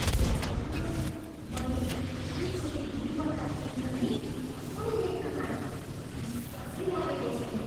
हे भगवान्, मैले एकैचोटि दुईवटा इन्द्रेणी कसरी देख्न पाएँ? विश्वासै लागेको छैन।